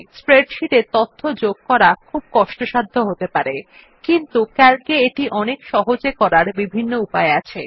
spreadsheet এ তথ্য যোগ করা খুব কষ্টসাধ্য হতে পারে কিন্তু ক্যালক এ এটি অনেক সহজে করার বিভিন্ন উপায় আছে